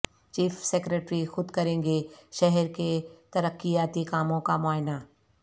chief secretary خود کریں گے شہر کے ترقیاتی کاموں کا معائنہ